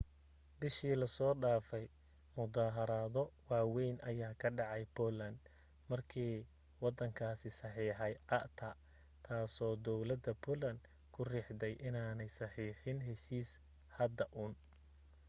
bishii la soo dhaafay muddaharaado waawayn ayaa ka dhacay poland markii waddankaasi saxeexay acta taasoo dawladda poland ku riixday inaanay saxeexin heshiiska hadda uun